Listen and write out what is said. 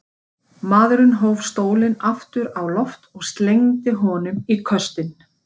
Maðurinn hóf stólinn aftur á loft og slengdi honum í köstinn.